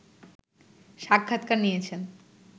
সাক্ষাৎকার নিয়েছেন